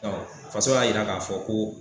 Tarɔ faso y'a yira k'a fɔ ko